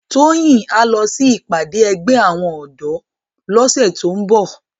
Toyin á lò si ipàdé ègbè áwòn òdò lòsè tó n bò